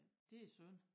Det synd